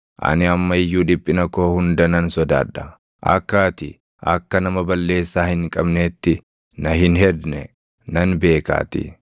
ani amma iyyuu dhiphina koo hunda nan sodaadha; akka ati akka nama balleessaa hin qabneetti na hin hedne nan beekaatii.